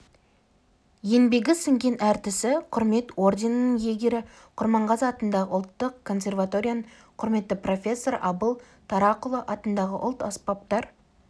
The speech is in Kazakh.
еңбегі сіңген әртісі құрмет орденінің иегері құрманғазы атындағы ұлттық консерваторияның құрметті профессоры абыл тарақұлы атындағы ұлт-аспаптар